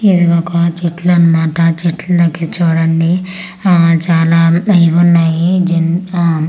ఇది ఒక చెట్లన్నమాట ఆ చెట్ల దగ్గర చూడండి ఆ చాలా ఇవి ఉన్నాయి జిన్ ఆ--